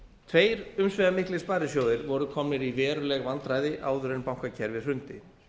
tveir umsvifamiklir sparisjóðir voru komnir í veruleg vandræði áður en bankakerfið hrundi